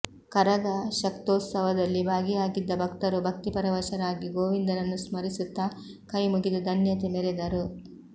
ಕರಗ ಶಕ್ತ್ಯೋತ್ಸವದಲ್ಲಿ ಭಾಗಿಯಾಗಿದ್ದ ಭಕ್ತರು ಭಕ್ತಿಪರವಶರಾಗಿ ಗೋವಿಂದನನ್ನು ಸ್ಮರಿಸುತ್ತಾ ಕೈ ಮುಗಿದು ಧನ್ಯತೆ ಮೆರೆದರು